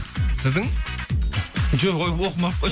сіздің жоқ ой оқымай ақ қойшы